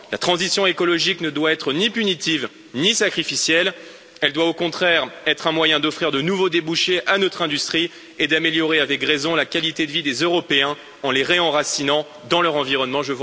La transition écologique ne doit être ni punitive, ni sacrificielle, elle doit au contraire être un moyen d'offrir de nouveaux débouchés à notre industrie et d'améliorer, avec raison, la qualité de vie des Européens en les réenracinant dans leur environnement.